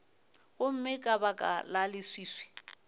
gomme ka baka la leswiswi